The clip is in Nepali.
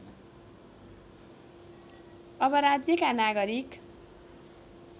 अब राज्यका नागरिक